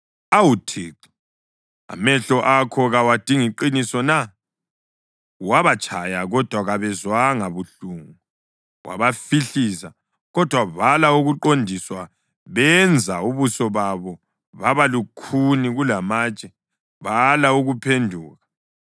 Awu Thixo, amehlo akho kawadingi qiniso na? Wabatshaya, kodwa kabezwanga buhlungu, wabahlifiza, kodwa bala ukuqondiswa. Benza ubuso babo baba lukhuni kulamatshe, bala ukuphenduka.